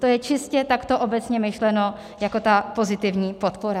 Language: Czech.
To je čistě takto obecně myšleno jako ta pozitivní podpora.